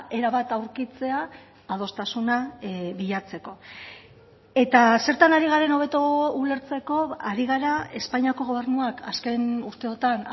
era bat aurkitzea adostasuna bilatzeko eta zertan ari garen hobeto ulertzeko ari gara espainiako gobernuak azken urteotan